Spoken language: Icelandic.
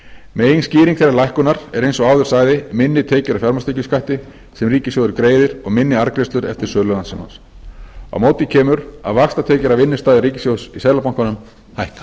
meginskýring þeirrar lækkunar er eins og áður sagði minni tekjur af fjármagnstekjuskatti sem ríkissjóður greiðir og minni arðgreiðslur eftir sölu landssímans á móti kemur að vaxtatekjur af innstæðu ríkissjóðs í seðlabankanum hækka